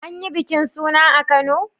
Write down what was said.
An yi bikin suna a kano?